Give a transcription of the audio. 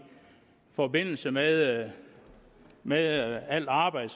forbindelse med med al arbejdet